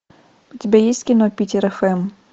у тебя есть кино питер фм